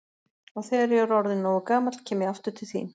Og þegar ég er orðinn nógu gamall kem ég aftur til þín.